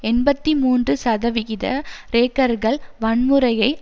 எண்பத்தி மூன்று சதவிகித கிரேக்கர்கள் வன்முறையை